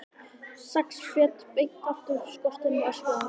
Sex fet beint aftur af skorsteininum, öskraði hann.